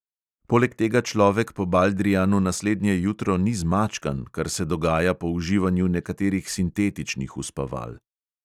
Poleg tega človek po baldrijanu naslednje jutro ni zmačkan, kar se dogaja po uživanju nekaterih sintetičnih uspaval.